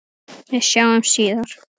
Við sjáumst síðar.